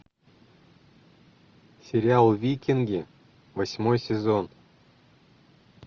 сериал викинги восьмой сезон